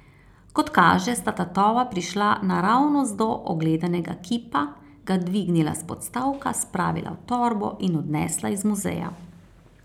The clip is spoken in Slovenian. Kot kaže, sta tatova prišla naravnost do ogledanega kipa, ga dvignila s podstavka, spravila v torbo in odnesla iz muzeja.